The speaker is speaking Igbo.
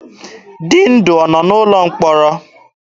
Dịndụ ọ nọ n'ụlọ mkpọrọ?